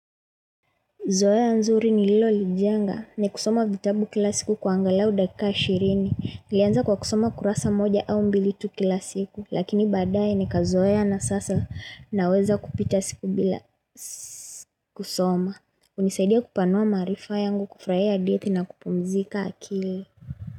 Zoea nzuri nililolijenga, ni kusoma vitabu kila siku kwa angalau dakika ishirini, nilianza kwa kusoma kurasa moja au mbili tu kila siku, lakini baadaye nikazoea na sasa naweza kupita siku bila kusoma. Hunisaidia kupanua maarifa yangu, kufurahia hadithi na kupumzika akili.